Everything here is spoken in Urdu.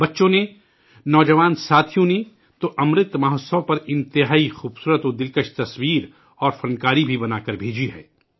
بچوں نے ، نو جوان ساتھیوں نے تو امرت مہوتسو پر بہت خوبصورت خوبصورت تصاویر اور فن پارے بھی بنا کر بھیجے ہیں